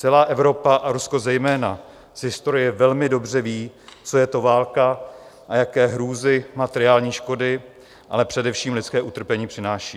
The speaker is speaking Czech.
Celá Evropa a Rusko zejména z historie velmi dobře vědí, co je to válka a jaké hrůzy, materiální škody, ale především lidské utrpení přináší.